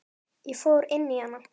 Ég fór inn í hana.